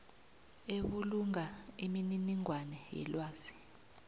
ebulunga imininingwana yelwazi